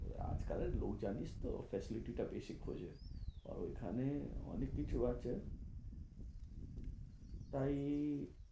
এই আজকালের লোক জানিস তো facility টা বেশি খোঁজে। আর ঐখানে অনেক কিছু আছে। তাই